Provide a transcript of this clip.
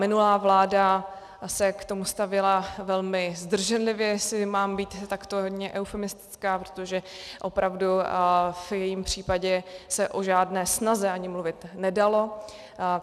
Minulá vláda se k tomu stavěla velmi zdrženlivě, jestli mám být takto hodně eufemistická, protože opravdu v jejím případě se o žádné snaze ani mluvit nedalo.